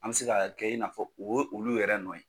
An bɛ se ka kɛ i n'a fɔ o ye olu yɛrɛ nɔ ye.